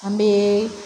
An bɛ